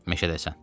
Məşədəsən.